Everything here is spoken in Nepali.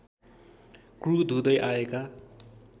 क्रुद्ध हुँदै आएका